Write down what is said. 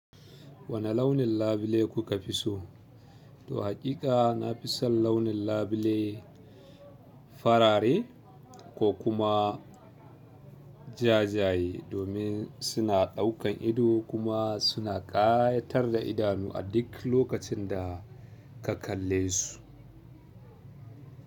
Wane launin labule kuka fi so? To hakika na fi son launin labule farare ko kuma jajaye domin suna ɗaukan ido kuma suna ƙayatar da idanu a duk lokacin da ka kalle su.